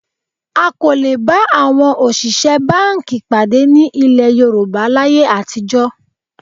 A kò lè bá àwọn òṣìṣẹ́ báńkì pàdé ní ilẹ̀ Yorùbá láyé àtijọ́